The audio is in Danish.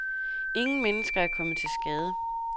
Ingen mennesker er kommet til skade.